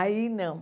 Aí não.